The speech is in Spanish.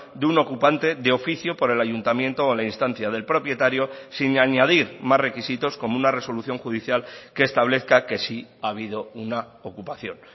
de un ocupante de oficio por el ayuntamiento o la instancia del propietario sin añadir más requisitos como una resolución judicial que establezca que sí ha habido una ocupación